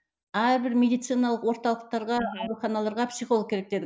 әрбір медициналық орталықтарға мхм ауруханаларға психолог керек дедік